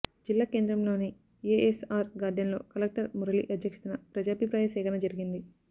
జిల్లా కేంద్రంలోని ఎఎస్ఆర్ గార్డెన్లో కలెక్టర్ మురళి అధ్యక్షతన ప్రజాభిప్రాయ సేకరణ జరిగింది